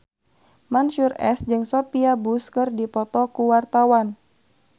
Mansyur S jeung Sophia Bush keur dipoto ku wartawan